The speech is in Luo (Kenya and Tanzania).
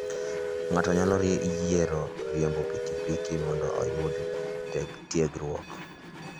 Ng'ato nyalo yiero riembo pikipiki mondo oyud tiegruok.